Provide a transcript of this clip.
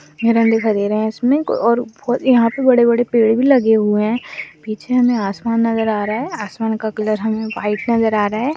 और यहाँ पे बड़े बड़े पेड़ भी लगे हैं पीछे हमें आसमान नज़र आ रहा है आसमान का कलर हमें वाइट नज़र आ रहा है।